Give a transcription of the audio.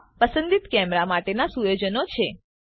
આ પસંદીત કેમેરા માટેના સુયોજનો છે